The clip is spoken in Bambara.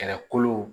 Kɛlɛkolo